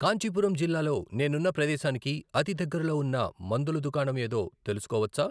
కాంచీపురం జిల్లాలో నేనున్న ప్రదేశానికి అతిదగ్గరలో ఉన్న మందుల దుకాణం ఏదో తెలుసుకోవచ్చా?